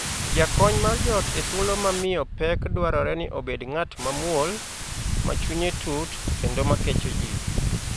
Jakony mar joot e thuolo ma miyo pek dwarore ni obed ng'at mamuol, ma chunye tut, kendo ma kecho jii.